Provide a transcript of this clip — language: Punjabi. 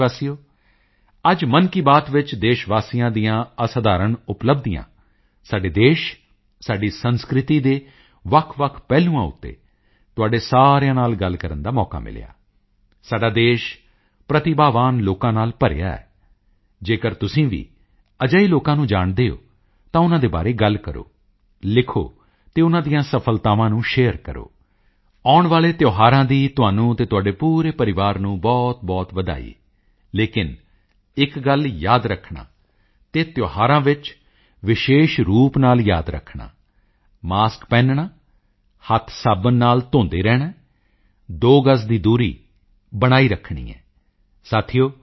ਮੇਰੇ ਪਿਆਰੇ ਦੇਸ਼ਵਾਸੀਓ ਅੱਜ ਮਨ ਕੀ ਬਾਤ ਵਿੱਚ ਦੇਸ਼ਵਾਸੀਆਂ ਦੀਆਂ ਅਸਧਾਰਣ ਉਪਲੱਬਧੀਆਂ ਸਾਡੇ ਦੇਸ਼ ਸਾਡੀ ਸੰਸਕ੍ਰਿਤੀ ਦੇ ਵੱਖਵੱਖ ਪਹਿਲੂਆਂ ਉੱਤੇ ਤੁਹਾਡੇ ਸਾਰਿਆਂ ਨਾਲ ਗੱਲ ਕਰਨ ਦਾ ਮੌਕਾ ਮਿਲਿਆ ਸਾਡਾ ਦੇਸ਼ ਪ੍ਰਤਿਭਾਵਾਨ ਲੋਕਾਂ ਨਾਲ ਭਰਿਆ ਹੋਇਆ ਹੈ ਜੇਕਰ ਤੁਸੀਂ ਵੀ ਅਜਿਹੇ ਲੋਕਾਂ ਨੂੰ ਜਾਣਦੇ ਹੋ ਤਾਂ ਉਨ੍ਹਾਂ ਦੇ ਬਾਰੇ ਗੱਲ ਕਰੋ ਲਿਖੋ ਅਤੇ ਉਨ੍ਹਾਂ ਦੀਆਂ ਸਫਲਤਾਵਾਂ ਨੂੰ ਸ਼ੇਅਰ ਕਰੋ ਆਉਣ ਵਾਲੇ ਤਿਓਹਾਰਾਂ ਦੀ ਤੁਹਾਨੂੰ ਅਤੇ ਤੁਹਾਡੇ ਪੂਰੇ ਪਰਿਵਾਰ ਨੂੰ ਬਹੁਤਬਹੁਤ ਵਧਾਈ ਲੇਕਿਨ ਇੱਕ ਗੱਲ ਯਾਦ ਰੱਖਣਾ ਅਤੇ ਤਿਓਹਾਰਾਂ ਵਿੱਚ ਜ਼ਰਾ ਵਿਸ਼ੇਸ਼ ਰੂਪ ਨਾਲ ਯਾਦ ਰੱਖਣਾ ਮਾਸਕ ਪਹਿਨਣਾ ਹੈ ਹੱਥ ਸਾਬਣ ਨਾਲ ਧੋਂਦੇ ਰਹਿਣਾ ਹੈ ਦੋ ਗਜ ਦੀ ਦੂਰੀ ਬਣਾਈ ਰੱਖਣੀ ਹੈ